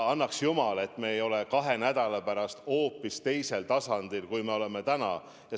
Annaks jumal, et me ei oleks kahe nädala pärast hoopis teisel tasandil, kui me oleme täna.